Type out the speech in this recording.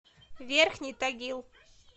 верхний тагил